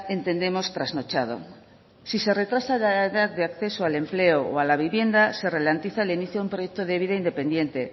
entendemos trasnochado si se retrasa la edad de acceso al empleo o la vivienda se ralentiza el inicio de un proyecto de vida independiente